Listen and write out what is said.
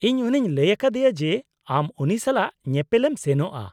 -ᱤᱧ ᱩᱱᱤᱧ ᱞᱟᱹᱭ ᱟᱠᱟᱫᱮᱭᱟ ᱡᱮ ᱟᱢ ᱩᱱᱤ ᱥᱟᱞᱟᱜ ᱧᱮᱯᱮᱞ ᱮᱢ ᱥᱮᱱᱚᱜᱼᱟ ᱾